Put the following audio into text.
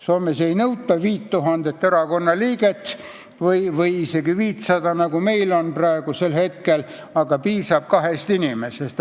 Soomes ei nõuta 5000 erakonnaliiget või isegi mitte 500, nagu meil praegu, piisab kahest inimesest.